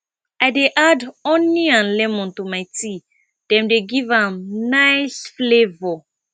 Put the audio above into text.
i dey add honey and lemon to my tea dem dey give am nice flavor